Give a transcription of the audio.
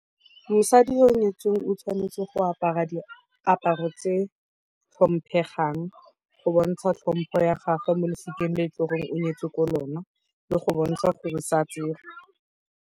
Mosadi yo o nyetsweng o tshwanetse go apara diaparo tse tlhomphegang go bontsha tlhompo ya gagwe mo losikeng le goreng o nyetswe ko lona, go bontsha gore sa tserwe.